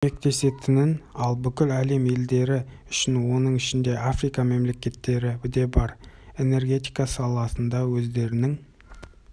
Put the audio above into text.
көмектесетінін ал бүкіл әлем елдері үшін оның ішінде африка мемлекеттері де бар энергетика саласында өздерінің